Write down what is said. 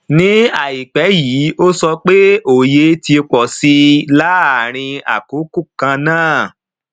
ní àìpẹ yìí ó sọ pé òye ti pọ sí i láàárín àkókò kan náà